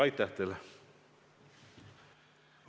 Aitäh teile!